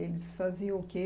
Eles faziam o quê?